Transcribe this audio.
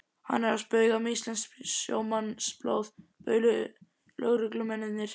Ekki er að spauga með íslenskt sjómannsblóð bauluðu lögreglumennirnir.